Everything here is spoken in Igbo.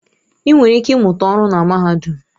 Ị nwere ike ịmụta ọrụ na mahadum.